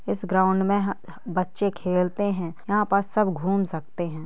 इस ग्राउन्ड मे ह-ह बच्चे खेलते है यहाँ पर सब घूम सकते है।